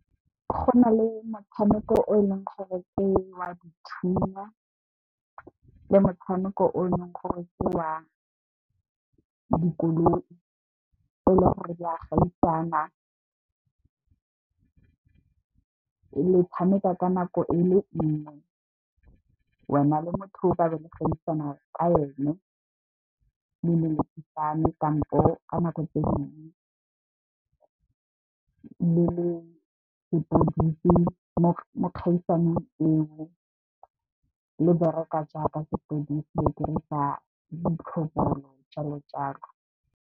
Go na le motshameko o e leng gore ke wa dithunya le motshameko o e leng gore ke wa dikoloi e le gore di a gaisana. Le tshameka ka nako e le nngwe wena le motho o tla be le ka ene, le lelekisane kampo, ka nako tse dingwe le le sepodisi mo kgaisanong eo le bereka jaaka sepodisi, le dirisa ditlhopana jalo jalo.